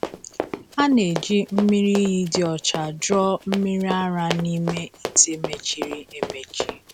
A na-eji mmiri iyi dị ọcha jụọ mmiri ara n’ime ite mechiri emechi.